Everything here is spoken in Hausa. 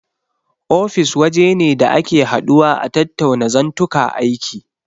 Ofis waje ne da ake haduwa a tattauna zantuka aiki.